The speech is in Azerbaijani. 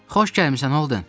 Xoş gəlmisən, Holden!